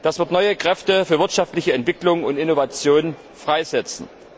Das wird neue Kräfte für wirtschaftliche Entwicklung und Innovationen freisetzen.